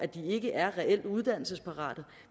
de ikke er reelt uddannelsesparate